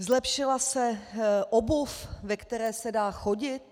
Zlepšila se obuv, ve které se dá chodit?